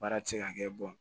Baara ti se ka kɛ